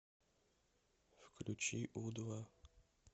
включи у два